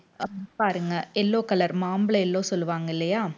பாருங்க yellow color மாம்பழ yellow சொல்லுவாங்க இல்லையா